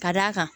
Ka d'a kan